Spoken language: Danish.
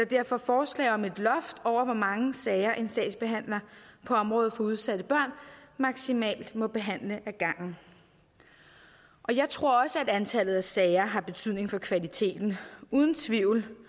derfor forslag om et loft over hvor mange sager en sagsbehandler på området for udsatte børn maksimalt må behandle ad gangen jeg tror også at antallet af sager har betydning for kvaliteten uden tvivl